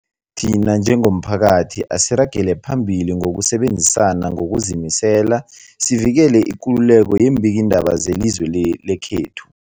Thina njengomphakathi, asiragele phambili ngokusebenzisana ngokuzimisela sivikele ikululeko yeembikiindaba zelizwe le lekhethu.